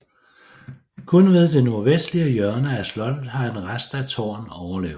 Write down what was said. Kun ved det nordvestlige hjørne af slottet har en rest af tårn overlevet